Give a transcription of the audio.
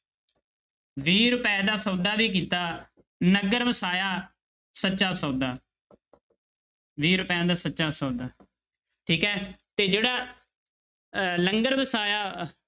ਵੀਹ ਰੁਪਏ ਦਾ ਸੌਦਾ ਵੀ ਕੀਤਾ, ਨਗਰ ਵਸਾਇਆ, ਸੱਚਾ ਸੌਦਾ ਵੀਹ ਰੁਪਇਆਂ ਦਾ ਸੱਚਾ ਸੌਦਾ, ਠੀਕ ਹੈ ਤੇ ਜਿਹੜਾ ਅਹ ਲੰਗਰ ਵਸਾਇਆ,